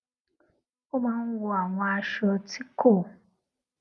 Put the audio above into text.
ó máa ń wọ àwọn aṣọ ti ko